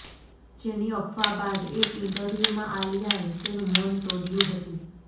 જેની અફવા બાદ એક ઈન્ટરવ્યૂમાં આલિયાએ તેનું મૌન તૌડ્યું હતુ